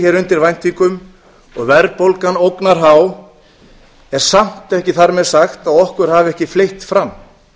hér undir væntingum og verðbólgan ógnarhá er samt ekki þar með sagt að okkur hafi ekki fleygt fram